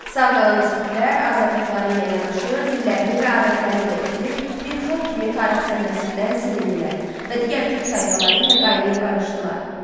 Sağ qalan skitlər azadlıqları ilə yanaşı dillərini və adətlərini də itirib bir xalq kimi tarix səhnəsindən silindilər və digər türk tayfaları ilə qaynayıb qarışdılar.